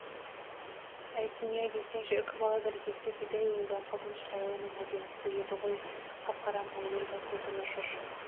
әй дүние-ай десеңші үкібала бір кезде бидай өңді қызыл шырайлының әдемісі еді ғой қап-қара мойылдай көзі нұр шашып